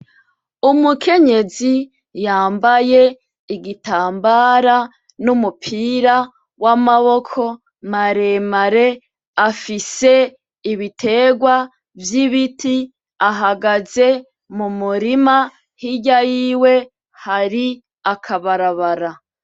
Umukenyezi yambaye igitambara numupira wa maboko maremare afise ibiterwa vy'ibiti ahagaze mumurima hirya yiwe hari akabarabara.